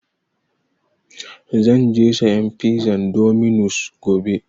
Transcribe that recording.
Zan je sayan pizan dominus gobe.